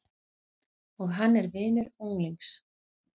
Og hann er vinur unglings.